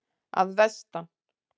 Að vestan.